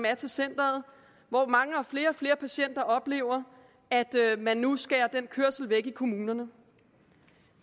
er til centeret hvor mange og flere og flere patienter oplever at man nu skærer den kørsel væk i kommunerne